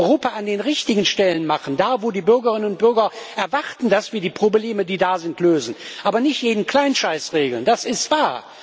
Europa an den richtigen Stellen machen, da, wo die Bürgerinnen und Bürger erwarten, dass wir die Probleme, die da sind, lösen, aber nicht jeden Kleinscheiß regeln, das ist wahr.